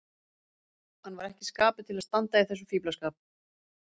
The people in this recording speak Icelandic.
Hann var ekki í skapi til að standa í þessum fíflaskap.